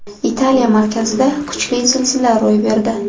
Italiya markazida kuchli zilzila ro‘y berdi.